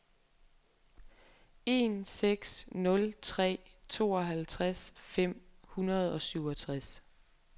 en seks nul tre tooghalvtreds fem hundrede og syvogtres